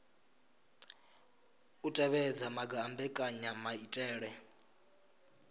u tevhedza maga a mbekanyamaitele